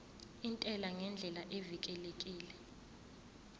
intela ngendlela evikelekile